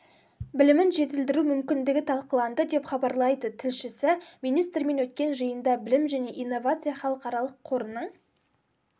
білімін жетілдіру мүмкіндігі талқыланды деп хабарлайды тілшісі министрмен өткен жиында білім жне инновация халықаралық қорының